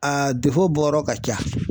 A bɔyɔrɔ ka ca.